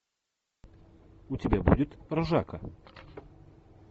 у тебя будет ржака